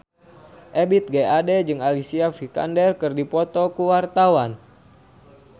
Ebith G. Ade jeung Alicia Vikander keur dipoto ku wartawan